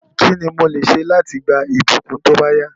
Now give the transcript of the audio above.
Kíni mo lè se láti gba ìbùkún tóbáyá